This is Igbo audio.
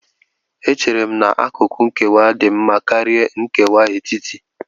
Echere m na akụkụ nkewa dị mma karịa nkewa etiti